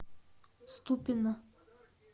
ступино